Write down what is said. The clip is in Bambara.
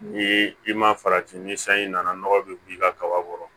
Ni i ma farati ni sanji nana nɔgɔ be b'i ka kaba kɔrɔ